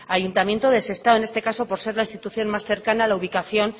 ayuntamiento de sestao en este caso por ser la institución más cercana a la ubicación